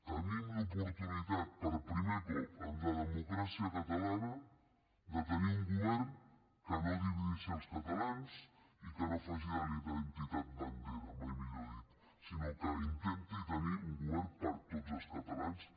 tenim l’oportunitat per primer cop en la democràcia catalana de tenir un govern que no divideixi els catalans i que no faci de la identitat bandera mai millor dit sinó que intenti tenir un govern per a tots els catalans